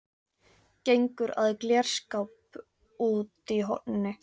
Gengur að glerskáp úti í horni.